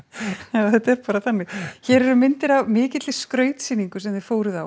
já þetta er bara þannig hér eru myndir af mikilli skrautsýningu sem þið fóruð á